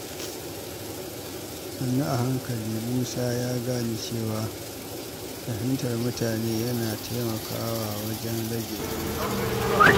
Sannu a hankali, Musa ya gane cewa fahimtar mutane yana taimakawa wajen rage rikici.